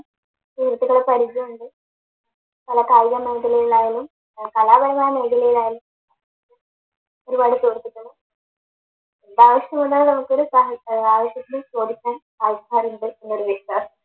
എന്താവശ്യം വന്നാലും നമുക്കൊരു ഏർ ആവിശ്യത്തിന് ചോദിക്കാൻ ആൾക്കാരുണ്ട് എന്നൊരു വിശ്വാസം